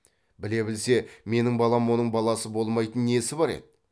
біле білсе менің балам оның баласы болмайтын несі бар еді